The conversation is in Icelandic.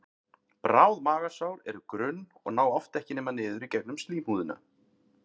Bráð magasár eru grunn og ná oft ekki nema niður í gegnum slímhúðina.